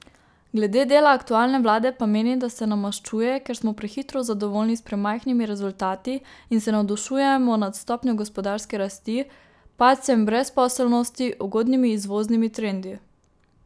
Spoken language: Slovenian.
Glede dela aktualne vlade pa meni, da se nam maščuje, ker smo prehitro zadovoljni s premajhnimi rezultati in se navdušujemo nad stopnjo gospodarske rasti, padcem brezposelnosti, ugodnimi izvoznimi trendi.